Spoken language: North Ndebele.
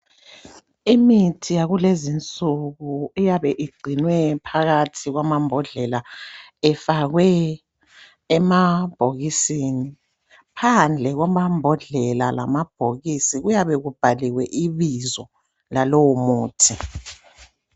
Imithi yakulezi nsuku iyabe igcinwe phakathi kwamambodlela ifakwe emabhokisini. Phandle kwamambodlela lamabhokisi kuyabe kubhaliwe ibizo lalowo muthi.